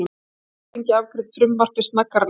Alþingi afgreiddi frumvarpið snaggaralega